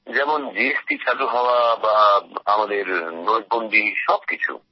যেমন জিএসটি চালু হওয়া বা আমাদের নোট বন্দি সবকিছু